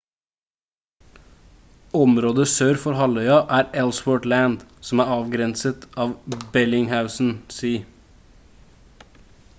området sør for halvøya er ellsworth land som er avgrenset av bellingshausen sea